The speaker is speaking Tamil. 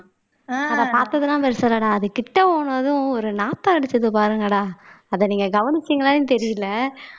அத பாத்ததெல்லாம் பெருசு இல்லடா அது கிட்ட போனதும் ஒரு நாத்தம் அடிச்சது பாருங்கடா அத நீங்க கவனிச்சீங்களான்னு தெரியலே